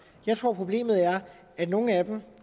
jeg tror at problemet er at nogle af dem